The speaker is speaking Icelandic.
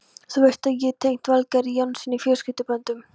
Þú veist að ég er tengd Valgarði Jónssyni fjölskylduböndum.